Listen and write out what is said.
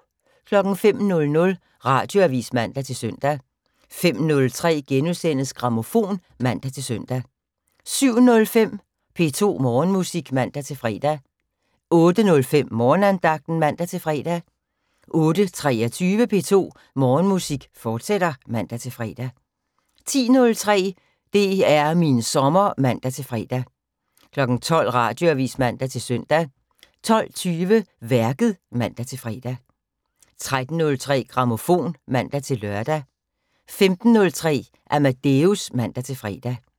05:00: Radioavis (man-søn) 05:03: Grammofon *(man-søn) 07:05: P2 Morgenmusik (man-fre) 08:05: Morgenandagten (man-fre) 08:23: P2 Morgenmusik, fortsat (man-fre) 10:03: DR min sommer (man-fre) 12:00: Radioavis (man-søn) 12:20: Værket (man-fre) 13:03: Grammofon (man-lør) 15:03: Amadeus (man-fre)